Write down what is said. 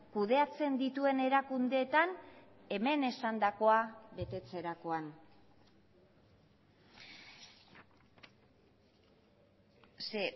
kudeatzen dituen erakundeetan hemen esandakoa betetzerakoan ze